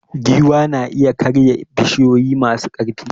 Giwa na iya karya bishiyoyi masu ƙarfi.